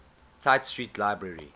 tite street library